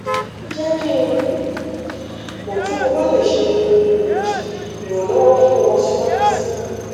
jẹ ki n um mọ ti mo ba le ṣe um iranlọwọ fun ọ siwaju sii